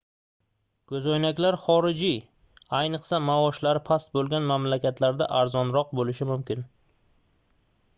koʻzoynaklar xorijiy ayniqsa maoshlari past boʻlgan mamlakatlarda arzonroq boʻlishi mumkin